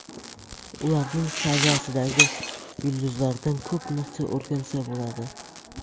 Ularning saviyasidagi yulduzlardan ko‘p narsa o‘rgansa bo‘ladi.